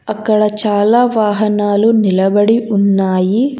అక్కడ చాలా వాహనాలు నిలబడి ఉన్నాయి.